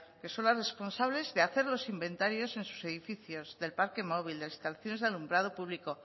que son las responsables de hacer los inventarios en sus edificios del parque móvil de las instalaciones de alumbrado público